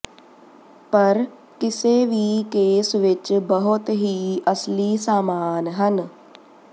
ਪਰ ਕਿਸੇ ਵੀ ਕੇਸ ਵਿੱਚ ਬਹੁਤ ਹੀ ਅਸਲੀ ਸਾਮਾਨ ਹਨ